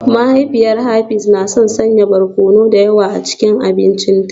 Mahaifiyar Hafiz na son sanya barkono da yawa a cikin abincinta